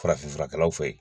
Farafinfurakɛlaw fɛ ye.